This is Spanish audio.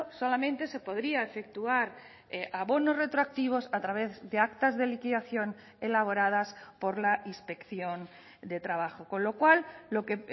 solamente se podría efectuar abonos retroactivos a través de actas de liquidación elaboradas por la inspección de trabajo con lo cual lo que